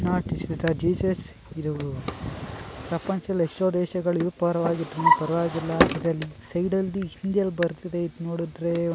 ಶಬ್ದ not this is the Jesus ಇದೂ ಶಬ್ದ ಪ್ರಪಂಚಲ್ ಎಷ್ಟೋ ದೇಶಗಳು ಯು ಪರ್ವಾಗ್ ಇದ್ರುನು ಪರ್ವಾಗಿಲ್ಲ ಇದ್ರಲ್ಲಿ ಸೈಡಲ್ಲಿ ಹಿಂದಿಯಲ್ ಬರ್ದಿದೆ ಇದ್ ನೋಡಿದ್ರೇ ಒನ್--